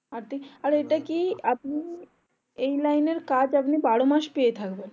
আর এটা কি আপনি এই line এর কাজ আপনি বারোমাস পেয়ে থাকবেন